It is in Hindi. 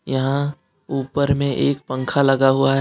यहां ऊपर में एक पंखा लगा हुआ है।